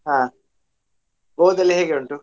ಹಾ Goa ದಲ್ಲಿ ಹೇಗೆ ಉಂಟು?